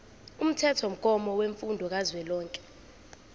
umthethomgomo wemfundo kazwelonke